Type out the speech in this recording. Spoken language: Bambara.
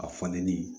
A falenni